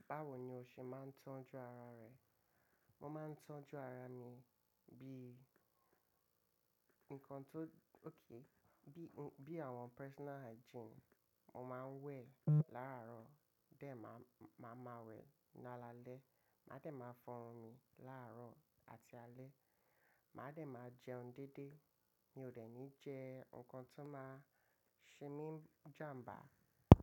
Báwo ni o ṣe máa ń tọ́jú ara rẹ? Mo máa ń tọ́jú ara mi bí, nǹkan tó-- okay, bí, bí àwọn personal hygiene. Mo máa ń wẹ̀ láàárọ̀, tẹ máa, máa ma wẹ̀ ní alaalẹ́. Màá dẹ̀ máa fọrun mi láàárọ̀ àti alẹ́. Màá dẹ̀ máa jẹun déédé. Mi ò dẹ̀ ní jẹ nǹkan tó máa ṣe mí jàmbá.